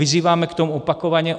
Vyzýváme k tomu opakovaně.